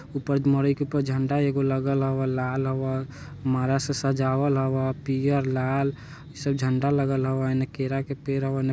ऊपर मड़ाई के ऊपर झंडा एगो लागल हावय लाल हवा माला से सजावल हव्वा पियर लाल इ सब झंडा लगल हव्वय इने केरा के पेर हवय।